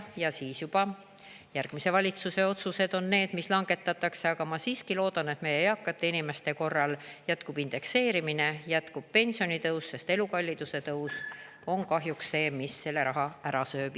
Ja siis juba järgmise valitsuse otsused on need, mis langetatakse, aga ma siiski loodan, et meie eakate inimeste korral jätkub indekseerimine, jätkub pensionitõus, sest elukalliduse tõus on kahjuks see, mis selle raha ära sööb.